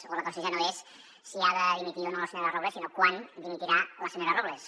o la qüestió ja no és si ha de dimitir o no la senyora robles sinó quan dimitirà la senyora robles